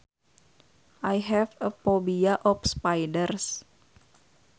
I have a phobia of spiders